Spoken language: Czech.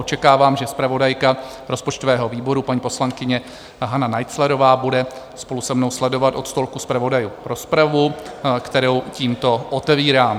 Očekávám, že zpravodajka rozpočtového výboru paní poslankyně Hana Naiclerová bude spolu se mnou sledovat od stolku zpravodajů rozpravu, kterou tímto otevírám.